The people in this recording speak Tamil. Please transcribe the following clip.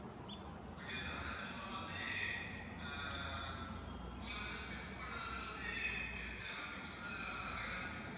okay sir அதுக்கப்பறம் வந்து ஆஹ் உங்களுக்கு வந்து fix பண்றது வந்து எப்படி எல்லாமே fix பண்றது எல்லாமே நாங்களே வந்து fix பண்ணி